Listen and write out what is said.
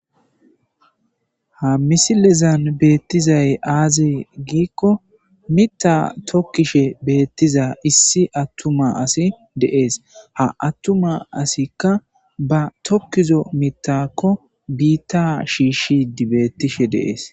Ha misilezan beettizay aazi giikko mita tokkishe beettiza issi attuma asi deees ha attuma asikka ba tokkizo mitakko biitta shiishi dibettishe deees